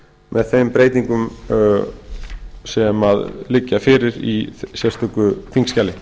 með þeim breytingu sem liggja fyrir í sérstöku þingskjali